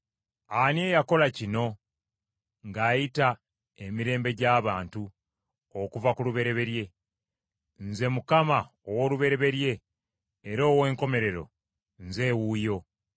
Ani eyakola kino ng’ayita emirembe gy’abantu okuva ku lubereberye? Nze Mukama ow’olubereberye era ow’enkomerero, nze wuuyo.”